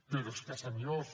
però és que senyors